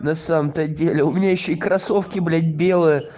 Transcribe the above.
на самом-то деле у меня ещё и кроссовки блять белые